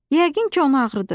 Yəqin ki onu ağrıdır.